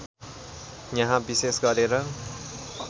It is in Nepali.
यहाँ विशेष गरेर